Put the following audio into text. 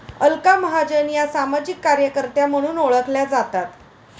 अलका महाजन या सामाजिक कार्यकर्त्या म्हणून ओळखल्या जातात